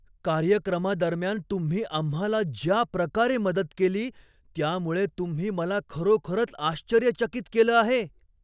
कार्यक्रमादरम्यान तुम्ही आम्हाला ज्या प्रकारे मदत केली त्यामुळे तुम्ही मला खरोखरच आश्चर्यचकित केलं आहे!